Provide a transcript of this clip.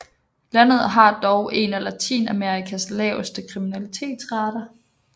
Landet har dog en af Latinamerikas laveste kriminalitetsrater